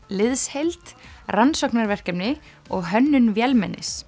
liðsheild rannsóknarverkefni og hönnun